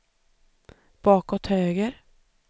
bakåt höger